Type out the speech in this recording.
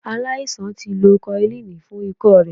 Aláisan ti lo koilínì fún ikọ́ rẹ̀.